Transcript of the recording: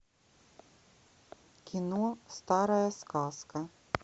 кино старая сказка